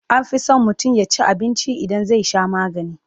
anfi San mutum yaci abinci idan zai Sha maganii